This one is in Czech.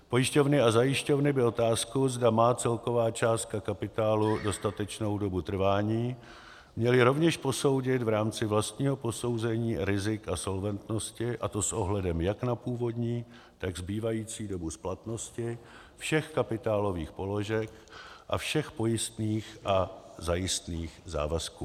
Pojišťovny a zajišťovny by otázku, zda má celková částka kapitálu dostatečnou dobu trvání, měly rovněž posoudit v rámci vlastního posouzení rizik a solventnosti, a to s ohledem jak na původní, tak zbývající dobu splatnosti všech kapitálových položek a všech pojistných a zajistných závazků.